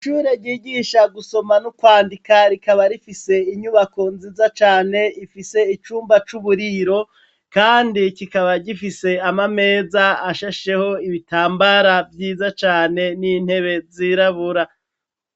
Ishure ryigisha gusoma no kwandika rikaba rifise inyubako nziza cane ifise icumba c'uburiro kandi kikaba gifise amameza ashasheho ibitambara vyiza cane n'intebe zirabura.